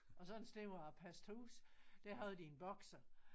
Og så en sted hvor jeg passede hus der havde de en boxer